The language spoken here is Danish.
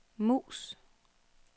mus